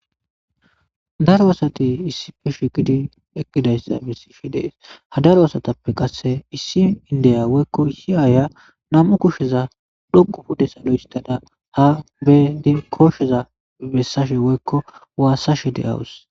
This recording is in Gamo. Daro asati issippe shiiqidi eqqidayssa besiishe de'es; ha daro asatappe qasse issi indiya woykko issi aaya nam'u kusheza dhoqqu pude salo histada ha be koosheza bessashe woykko wassashe de'awus.